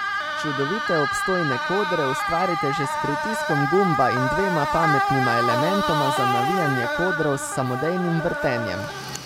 Čudovite, obstojne kodre ustvarite že s pritiskom gumba in dvema pametnima elementoma za navijanje kodrov s samodejnim vrtenjem.